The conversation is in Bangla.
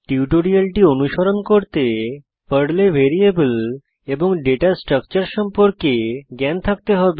টিউটোরিয়ালটি অনুশীলন করতে পর্লে ভ্যারিয়েবল এবং ডেটা স্ট্রাকচার সম্পর্কে জ্ঞান থাকতে হবে